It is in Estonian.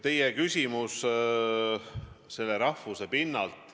Teie küsimus oli rahvuse pinnalt.